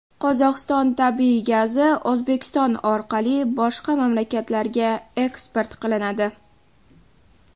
Qozog‘iston tabiiy gazi O‘zbekiston orqali boshqa mamlakatlarga eksport qilinadi.